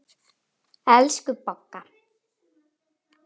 Elsku Bogga.